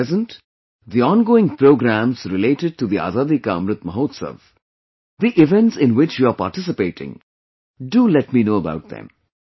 At present, the ongoing programs related to the Azadi Ka Amrit Mahotsav; the events in which you are participating... do let me know about them